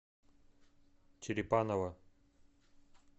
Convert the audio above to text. черепаново